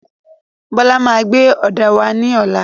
Bọ́lá máa gbé òdà wà ní ọlá.